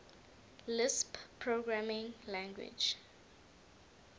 lisp programming language